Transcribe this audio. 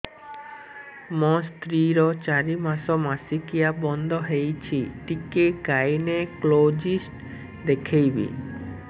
ମୋ ସ୍ତ୍ରୀ ର ଚାରି ମାସ ମାସିକିଆ ବନ୍ଦ ହେଇଛି ଟିକେ ଗାଇନେକୋଲୋଜିଷ୍ଟ ଦେଖେଇବି